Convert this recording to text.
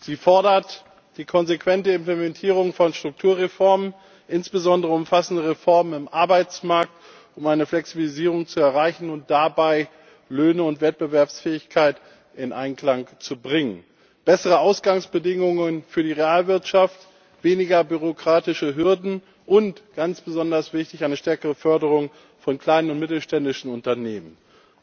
Sie fordert die konsequente Implementierung von Strukturreformen, insbesondere umfassende Reformen im Arbeitsmarkt, um eine Flexibilisierung zu erreichen und dabei Löhne und Wettbewerbsfähigkeit in Einklang zu bringen, bessere Ausgangsbedingungen für die Realwirtschaft, weniger bürokratische Hürden und ganz besonders wichtig eine stärkere Förderung von kleinen und mittelständischen Unternehmen.